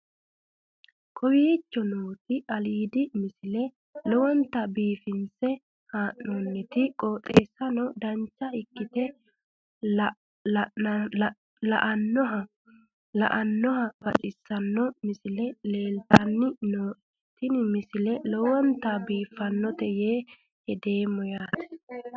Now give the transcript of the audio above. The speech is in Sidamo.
kowicho nooti aliidi misile lowonta biifinse haa'noonniti qooxeessano dancha ikkite la'annohano baxissanno misile leeltanni nooe ini misile lowonta biifffinnote yee hedeemmo yaate